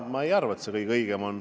Ma ei arva, et see kõige õigem on.